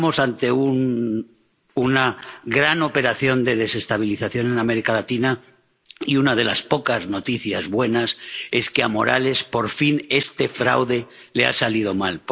Estamos ante una gran operación de desestabilización en América Latina y una de las pocas noticias buenas es que, a Morales, por fin, este fraude le ha salido mal.